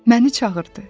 Məni çağırdı.